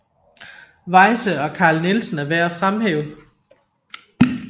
Weyse og Carl Nielsen er værd at fremhæve